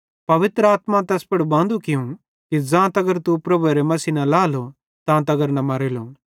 पवित्र आत्मा तैस ज़ोरू थियूं कि ज़ां तगर तू प्रभु यीशु मसीह न लाएलो तां तगर न मरेलो